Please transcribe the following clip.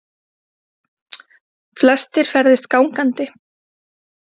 Flestir ferðist gangandi